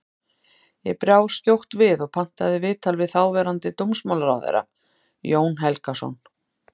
Ég brá skjótt við og pantaði viðtal við þáverandi dómsmálaráðherra, Jón Helgason.